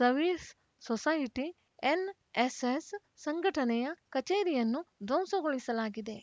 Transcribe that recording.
services society NSS ಸಂಘಟನೆಯ ಕಚೇರಿಯನ್ನು ಧ್ವಂಸಗೊಳಿಸಲಾಗಿದೆ